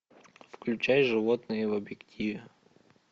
включай животные в объективе